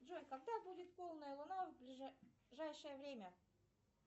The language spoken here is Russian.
джой когда будет полная луна в ближайшее время